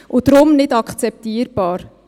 Deshalb: Nicht akzeptabel.